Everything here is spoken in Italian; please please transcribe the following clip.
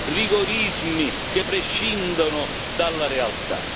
rigorismi che prescindono dalla realtà.